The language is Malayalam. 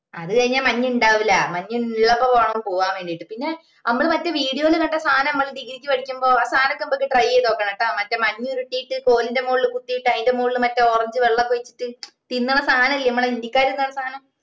അത് കഴിഞ്ഞാ മഞ്ഞിണ്ടാവുല്ല മഞ്ഞില്ലപ്പോ വേണം പോവ്വാൻ വേണ്ടിട്ടു പിന്നെ മ്മള് മറ്റേ video ഇൽ കണ്ട സാധനം മറ്റേ degree ക്ക് പഠിക്കുമ്പോ ആ സഥനൊകെ ഞമ്മക്ക് try ചെയ്തോക്കണം ട്ടാ മറ്റേ മഞ്ഞുരുട്ടീട്ട് മറ്റേ കോളിന്റെ മോളിൽ കുത്തീട്ട് അയിന്റെ മോളിൽ മറ്റേ orange വെള്ളഒക്കെ ഒഴിച്ചിട്ട് തിന്നുന്ന സാധന ഇല്ലേ മ്മളെ ഹിന്ദിക്കാര് തിന്നണ സാധനം